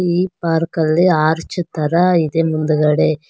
ಈ ಪಾರ್ಕಲ್ಲಿ ಆರ್ಚ್ ತರ ಇದೆ ಮುಂದ್ಗಡೆ.